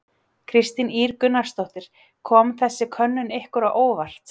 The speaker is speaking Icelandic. Kristín Ýr Gunnarsdóttir: Kom þessi könnun ykkur á óvart?